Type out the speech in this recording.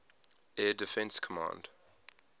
air defense command